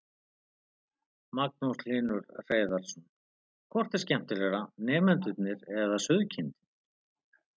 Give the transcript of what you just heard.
Magnús Hlynur Hreiðarsson: Hvort er skemmtilegra, nemendurnir eða sauðkindin?